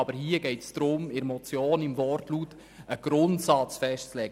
Aber hier geht es darum, im Wortlaut der Motion einen Grundsatz festzulegen.